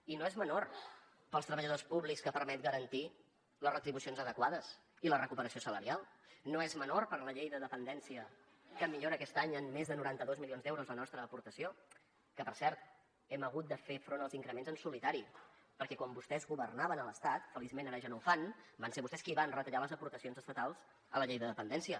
i no és menor per als treballadors públics que permet garantir les retribucions adequades i la recuperació salarial no és menor per a la llei de dependència que millora aquest any en més de noranta dos milions d’euros la nostra aportació que per cert hem hagut de fer front als increments en solitari perquè quan vostès governaven a l’estat feliçment ara ja no ho fan van ser vostès qui van retallar les aportacions estatals a la llei de dependència